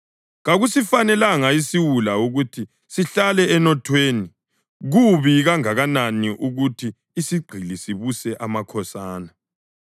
Kakusifanelanga isiwula ukuthi sihlale enothweni kubi kangakanani ukuthi isigqili sibuse amakhosana.